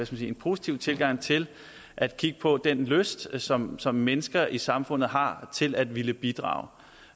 sige positiv tilgang til at kigge på den lyst som som mennesker i samfundet har til at ville bidrage